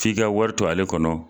K'i ka wari to ale kɔnɔ.